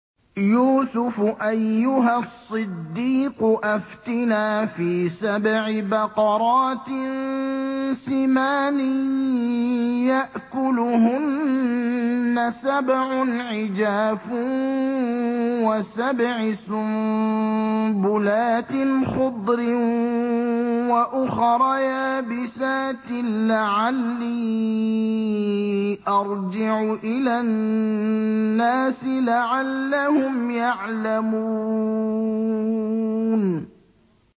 يُوسُفُ أَيُّهَا الصِّدِّيقُ أَفْتِنَا فِي سَبْعِ بَقَرَاتٍ سِمَانٍ يَأْكُلُهُنَّ سَبْعٌ عِجَافٌ وَسَبْعِ سُنبُلَاتٍ خُضْرٍ وَأُخَرَ يَابِسَاتٍ لَّعَلِّي أَرْجِعُ إِلَى النَّاسِ لَعَلَّهُمْ يَعْلَمُونَ